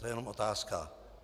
To je jenom otázka.